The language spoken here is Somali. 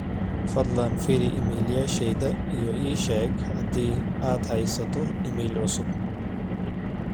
fadhlan fiiri iimaylyasheyda iyo isheeg adii aan haysto iimayl cusub